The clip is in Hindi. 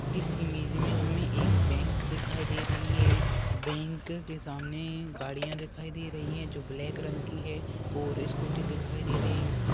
इस इमेज मे हमे बैंक दिखाई दे रही है बैंक के सामने गड़िया दिखाई दे रही है जो ब्लैक रंग की है और स्कूटी दिखाई दे रही है।